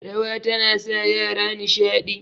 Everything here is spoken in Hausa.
rawa tana sa yara nishadi